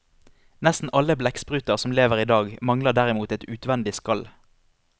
Nesten alle blekkspruter som lever i dag mangler derimot et utvendig skall.